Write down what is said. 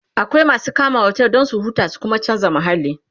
akwai masu kama otel Dan su huta su Kuma chanza mahalli